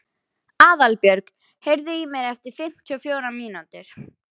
Aðalbjörg, heyrðu í mér eftir fimmtíu og fjórar mínútur.